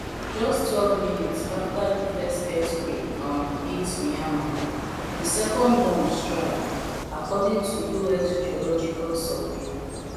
just twelve minutes afta di first earthquake um hit myanmar di second one strike according to us geological survey